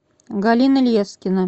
галина лескина